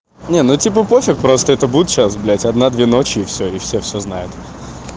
не ну типа пофиг просто это будет сейчас блядь одна две ночи и все и всё знают